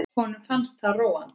Honum fannst það róandi.